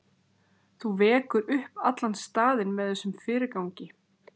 Þú vekur upp allan staðinn með þessum fyrirgangi.